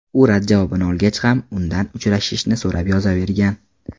U rad javobini olgach ham, udan uchrashishni so‘rab yozavergan.